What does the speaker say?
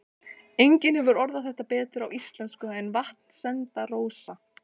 Enginn hefur orðað þetta betur á íslensku en Vatnsenda-Rósa